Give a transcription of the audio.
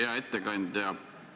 Hea ettekandja!